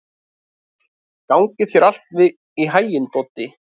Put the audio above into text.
Gangi þér allt í haginn, Doddi.